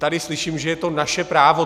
Tady slyším, že je to naše právo.